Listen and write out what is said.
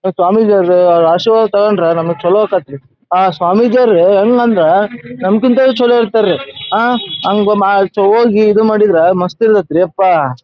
ಹ ಸ್ವಾಮೀಜಿಯವರ ಆಶೀರ್ವಾದ ತಗೊಂಡ್ರ ನಮಗ ಚಲೋ ಆಕ್ಕೆತ್ರಿ. ಆ ಸ್ವಾಮೀಜಿಯವರು ನಮಕ್ಕಿಂತ ಚಲೋ ಇರ್ತಾರೇರಿ. ಆ ಹಂಗ ಮಾ ಹೋಗಿ ಇದ್ ಮಾಡಿದ್ರ ಮಸ್ತ್ ಇರತೈತ್ರಿಪ್ಪಾ .